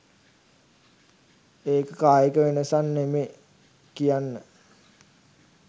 ඒක කායික වෙනසක් නෙමේ කියන්න